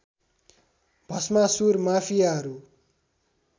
Bhasmasur माफियाहरू